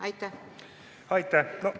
Aitäh!